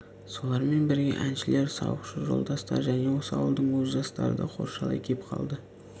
солармен бірге әншілер сауықшы жолдастар және осы ауылдың өз жастары да қоршалай кеп қалды